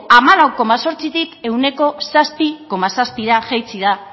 hamalau koma zortzitik ehuneko zazpi koma zazpira jaitsi da